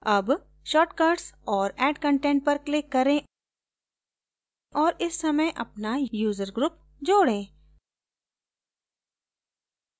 add shortcuts और add content पर click करें और इस समय अपना user group जोड़ें